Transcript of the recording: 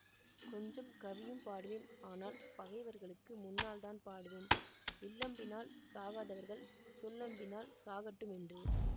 கொஞ்சம் கவியும் பாடுவேன் ஆனால் பகைவர்களுக்கு முன்னால்தான் பாடுவேன் வில்லம்பினால் சாகாதவர்கள் சொல்லம்பினால் சாகட்டும் என்று